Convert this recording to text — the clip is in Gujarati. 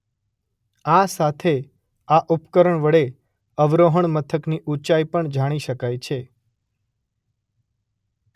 આ સાથે આ ઉપકરણ વડે અવરોહણ મથકની ઊંચાઈ પણ જાણી શકાય છે.